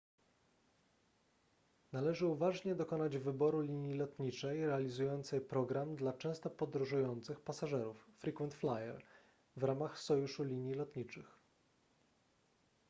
należy uważnie dokonać wyboru linii lotniczej realizującej program dla często podróżujących pasażerów frequent flyer w ramach sojuszu linii lotniczych